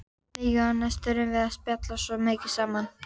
Við Jónas þurftum að spjalla svo mikið saman.